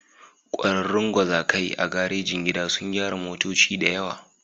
Ƙwararrun gwazakai a garejin gida sun gyara motoci da yawa.